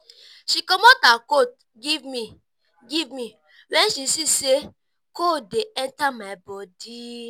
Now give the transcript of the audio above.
she comot her coat give me give me wen she see sey cold dey enta my bodi.